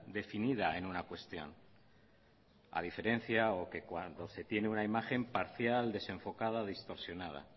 definida en una cuestión a diferencia o que cuando se tiene una imagen parcial desenfocada distorsionada